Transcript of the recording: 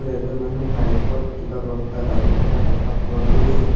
এজন মানুহ বাইক ত কিবা বস্তা বান্ধি থকা দেখা পোৱা গৈছে।